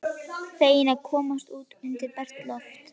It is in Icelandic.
Feginn að komast út undir bert loft.